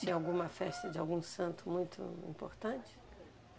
Tinha alguma festa de algum santo muito importante?